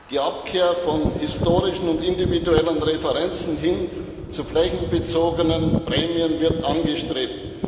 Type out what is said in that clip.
Die Abkehr von historischen und individuellen Referenzen hin zu flächenbezogenen Prämien wird angestrebt.